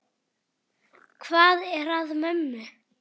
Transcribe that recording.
Hvað er að mömmu?